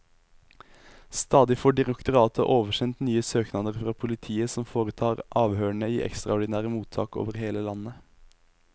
Stadig får direktoratet oversendt nye søknader fra politiet, som foretar avhørene i ekstraordinære mottak over hele landet.